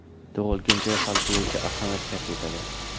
Tug‘ilgan joy hal qiluvchi ahamiyat kasb etadi.